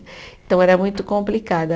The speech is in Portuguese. Então, era muito complicado.